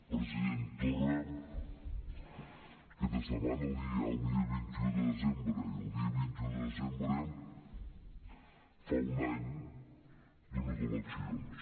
president torra aquesta setmana hi ha el dia vint un de desembre i el dia vint un de desembre fa un any d’unes eleccions